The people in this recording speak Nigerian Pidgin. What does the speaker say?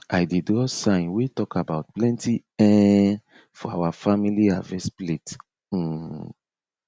i dey draw sign wey talk about plenty um for our family harvest plate um